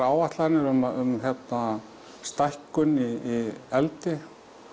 áætlanir um hérna stækkun í eldi